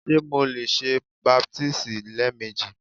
Ṣe Mo le ṣe baptisi lẹẹmeji?